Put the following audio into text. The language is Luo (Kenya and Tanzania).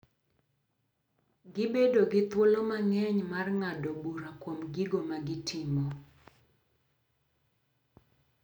Gibedo gi thuolo mang’eny mar ng’ado bura kuom gigo ma gitimo.